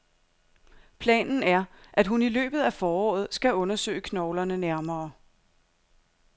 Planen er, at hun i løbet af foråret skal undersøge knoglerne nærmere.